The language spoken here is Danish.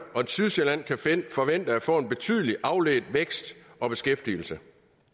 og sydsjælland kan forvente at få en betydelig afledt vækst og beskæftigelse